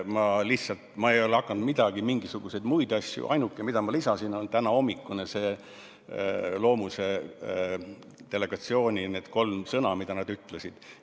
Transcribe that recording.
Ma ei ole hakanud lisama mingisuguseid muid asju, ainuke, mida ma lisasin, on tänahommikune Loomuse delegatsiooni kolm sõna, mida nad ütlesid.